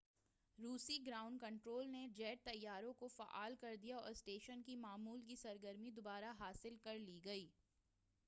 روسی ground control نے jet طیاروں کو فعال کردیا اور اسٹیشن کی معمول کی سرگرمی دوبارہ حاصل کرلی گئی